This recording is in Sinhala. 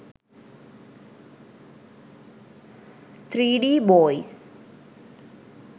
3d boys